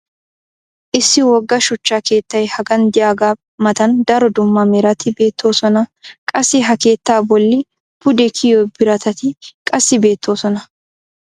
issi wogga shuchcha keettay hagan diyagaa matan daro dumma merati beetososna. qassi ha keettaa boli pude kiyiyo biratatti qassi beettoososna.